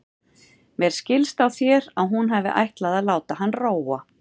Mér skildist á þér að hún hefði ætlað að láta hann róa.